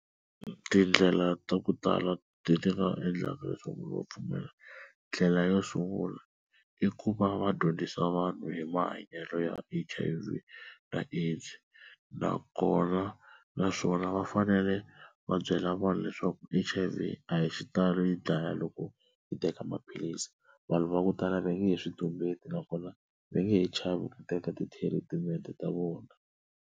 Tindlela ta ku tala leti ti nga endlaka leswaku va pfumela, ndlela yo sungula i ku va va dyondzisa vanhu hi mahanyelo ya H_I_V na AIDS, nakona naswona va fanele va byela vanhu leswaku H_I_V a hi xitalo yi dlaya loko i teka maphilisi. Vanhu va ku tala va nge he swi tumbeti nakona va nge he chavi ku teka ti-treatment ta vona.